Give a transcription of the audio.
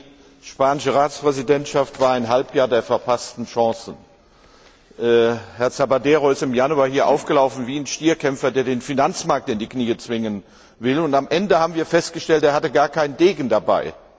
Die spanische Ratspräsidentschaft war ein Halbjahr der verpassten Chancen. Herr Zapatero ist im Januar hier aufgelaufen wie ein Stierkämpfer, der den Finanzmarkt in die Knie zwingen will, und am Ende haben wir festgestellt, er hatte gar keinen Degen dabei.